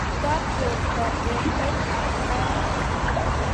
mwito borto eng let ab garit